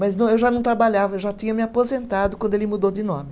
Mas não, eu já não trabalhava, eu já tinha me aposentado quando ele mudou de nome.